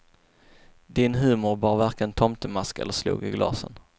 Din humor bar varken tomtemask eller slog i glasen.